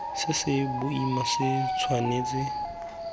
se se boima se tshwanetse